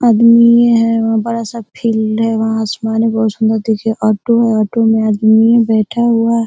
आदमी है वहां बड़ा फील्ड है वहां आसमान बहुत सुन्दर दिखे ऑटो है ऑटो में आदमी बैठा हुआ --